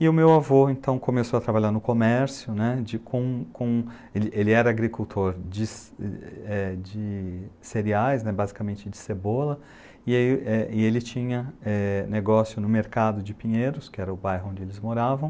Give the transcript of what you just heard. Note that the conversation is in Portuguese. E o meu avô então começou a trabalhar no comércio né, de com com ele ele era agricultor de ce eh de cereais né, basicamente de cebola, e aí eh e ele tinha eh negócio no mercado de Pinheiros, que era o bairro onde eles moravam,